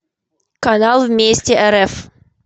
канал вместе рф